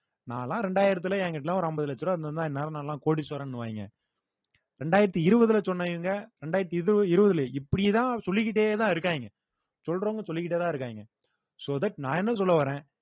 நான்லாம் ரெண்டாயிரத்தில என்கிட்டலாம் ஒரு அம்பது லட்ச ரூவா இருந்துருந்தா இந்நேரம் நான் கோடீஸ்வரன்னுவாய்ங்க இரண்டாயிரத்து இருவதுல சொன்னவங்க இரண்டாயிரத்து இரு~ இருவதுல இப்படித்தான் சொல்லிக்கிட்டேதான் இருக்காங்க சொல்றவங்க சொல்லிக்கிட்டேதான் இருக்காங்க so that நான் என்ன சொல்ல வர்றேன்